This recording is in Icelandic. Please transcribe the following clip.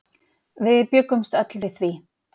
Við bjuggumst öll við því.